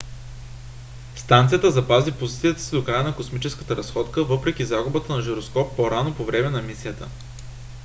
станцията запази позицията си до края на космическата разходка въпреки загубата на жироскоп по-рано по време на мисията